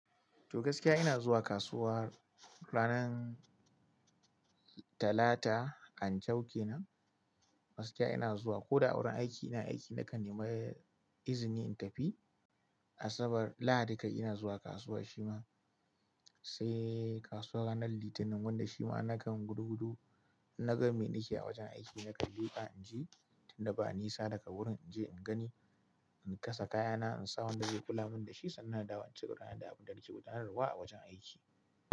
Togaskiya ina zuwa kasuwa ranar Talata an ce aukena. Gaskiya ina zuwa ko da a wurin aiki ina aiki nakan nemi izini in tafi. Asabar, Lahadi kai ina zuwa kasuwa shima. Sai kasuwar ranar Litinin wanda shima nakan gudu gudu na gama me nake a wajen aiki nakan in je tun da ba nisa daga wurin in je in gani, in kasa kayana, in sa wanda zai kula min da shi sannan na dawo cigaba na da abin da ake gudanarwa a wajen aiki.